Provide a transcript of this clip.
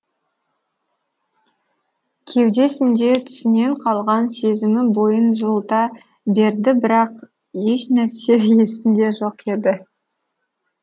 кеудесінде түсінен қалған сезімі бойын жылыта берді бірақ ешнәрсе есінде жоқ еді